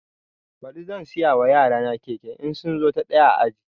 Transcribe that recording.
Baɗi zan siya ma yarana keke in sun zo na ɗaya a aji